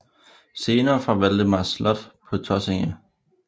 Scener fra Valdemars slot på Tåsinge